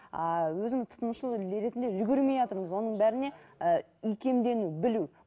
ааа өзің тұтынушы елдер ретінде үлгермейатырмыз оның бәріне ііі икемдену білу